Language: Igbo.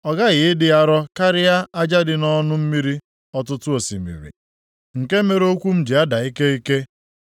Ọ ghaghị ịdị arọ karịa aja dị nʼọnụ mmiri ọtụtụ osimiri, nke mere okwu m ji ada ike ike.